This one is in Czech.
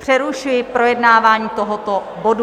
Přerušuji projednávání tohoto bodu.